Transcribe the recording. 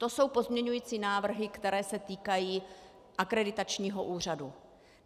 To jsou pozměňovací návrhy, které se týkají akreditačního úřadu.